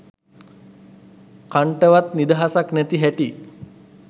කන්ටවත් නිදහසක් නැති හැටි.